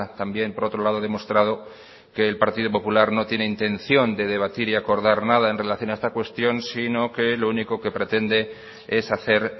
también por otro lado demostrado que el partido popular no tiene intención de debatir y acordar nada en relación a esta cuestión sino que lo único que pretende es hacer